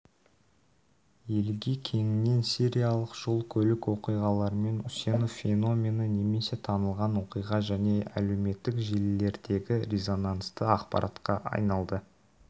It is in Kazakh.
елге кеңінен сериялық жол-көлік оқиғаларымен үсенов феномені немесе танылған оқиға және әлеуметтік желілелердегі резонансты ақпаратқа айналды